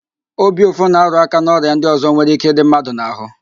Obi ụfụ na-arụáká n'ọrịa ndị ọzọ nwere íké ịdị mmadụ n'ahụ